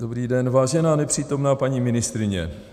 Dobrý den, vážená nepřítomná paní ministryně.